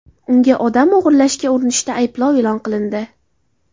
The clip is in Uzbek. Unga odam o‘g‘irlashga urinishda ayblov e’lon qilindi.